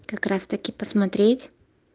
как раз-таки посмотреть